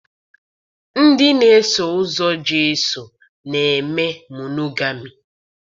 Ndị na-eso ụzọ Jesu na-eme monogami